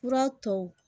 Fura tɔw